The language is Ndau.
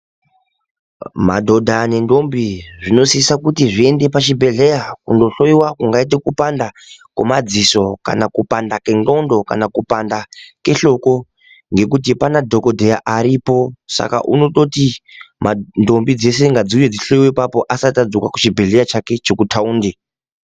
Madhodha nendombi zvinosisa kutizviende pachibhehleya kundohloyiwa kungaite kupanda kwemadziso kana kupanda kwenxlondo kana kupanda kwehloko ngekuti panadhokodheya aripo saka unototi ndombi dzese ngadziuye dzihloyiwe apapo asati adzoka kuchibhehleya chake chekutaundi.